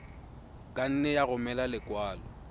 ka nne ya romela lekwalo